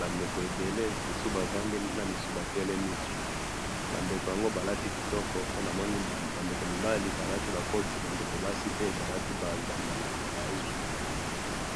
bandeko ebele, bamisusu bavandi bamisusu batelemi, bandeko yango balati kitoko, po namona bandeko mibali balati bakoti, bandeko basi mpe balati bazambala milayi.